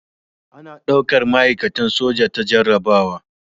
A na daukar ma'aikatan soja ta jarrabawa